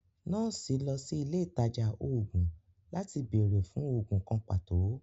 Nọọsi lọ sí ilẹ̀ itajà oogun latí bẹẹ̀rẹ̀ fún oogun kàn patọ